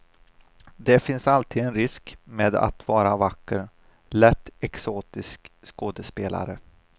Det finns alltid en risk med att vara vacker, lätt exotisk skådespelare.